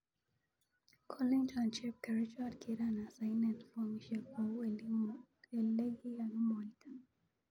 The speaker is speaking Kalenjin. Kolenchon chepkerichot kiran asainen fomishek kou elekikakimwaita.